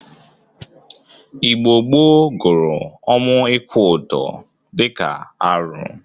Igbo gboo guru ọnwụ ikwu ọdọ dịka arụ.